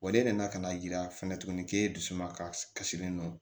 Wa e de nana ka na yira fɛnɛ tuguni k'e dusu suma kasilen don